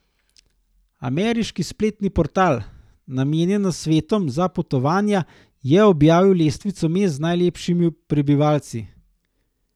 Ameriški spletni portal, namenjen nasvetom za potovanja, je objavil lestvico mest z najlepšimi prebivalci.